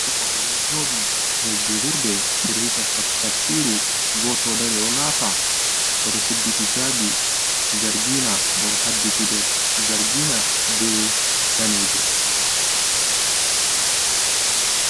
Robe ɓeɗo joɗi nɗer julurde ɓeɗo heɗitaa tabsiru, goto ɗo dari ɗo nafa odo suddi hijabi zargina, ɓo oɗo haddi gudel zargina be ɗanejum.